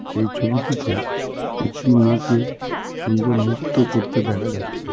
এই ছবিটিতে একটি মেয়েকে সুন্দর নৃত্য করতে দেখা যাচ্ছে .